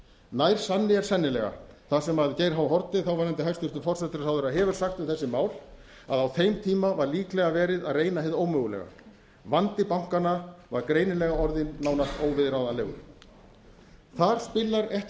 nær sann i er sennilega það sem geir h haarde þáverandi hæstvirtur forsætisráðherra hefur sagt um þessi mál að á þeim tíma var líklega verið að reyna hið ómögulega vandi bankanna var greinilega orðinn nánast óviðráðanlegur þar spilar ekki